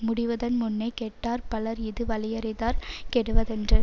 முடிவதன்முன்னே கெட்டார் பலர் இது வலியறிதார் கெடுவரென்று